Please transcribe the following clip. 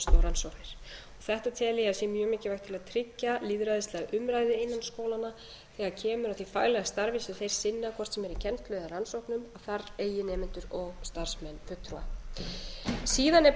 rannsóknir þetta tel ég að sé mjög mikilvægt til að tryggja lýðræðislega umræðu innan skólanna þegar kemur að því faglega starfi sem þeir sinna hvort sem er í kennslu eða rannsóknum að þar eigi nemendur og starfsmenn fulltrúa síðan er